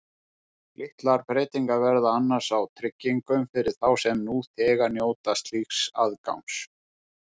Litlar breytingar verða annars á tryggingum fyrir þá sem nú þegar njóta slíks aðgangs.